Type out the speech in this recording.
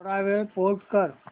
थोडा वेळ पॉझ कर